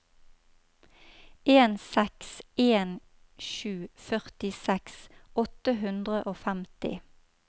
en seks en sju førtiseks åtte hundre og femti